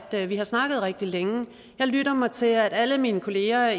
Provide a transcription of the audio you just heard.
ægget vi har snakket rigtig længe og jeg lytter mig til at alle mine kolleger